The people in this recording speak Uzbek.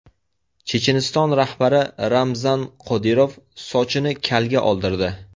Checheniston rahbari Ramzan Qodirov sochini kalga oldirdi.